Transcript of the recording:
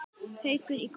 Haukur í golf.